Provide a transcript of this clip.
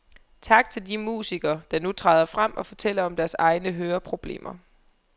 Tak til de musikere, der nu træder frem og fortæller om deres egne høreproblemer.